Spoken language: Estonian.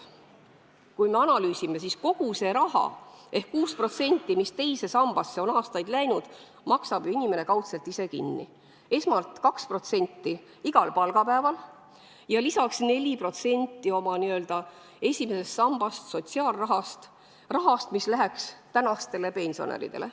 Kui me analüüsime, siis näeme, et kogu selle raha ehk 6%, mis teise sambasse on aastaid läinud, maksab ju inimene kaudselt ise kinni, esmalt 2% igal palgapäeval ja lisaks 4% oma n-ö esimesest sambast, sotsiaalrahast, sellest rahast, mis muidu läheks tänastele pensionäridele.